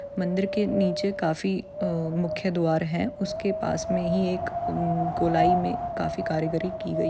मंदिर के नीचे काफी अ मुख्य द्वार हैं। उसके पास मे ही एक गोलाई मे काफी कारीगरी की गई----